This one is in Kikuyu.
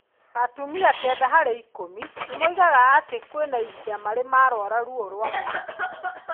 Atumia 9 harĩ 10 nĩ moigaga atĩ kwĩna ihinda marĩ marũara ruo rwa mweri.